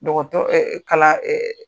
Dɔgɔtɔ kalan